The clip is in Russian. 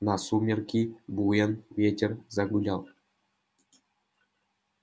на сумерки буен ветер загулял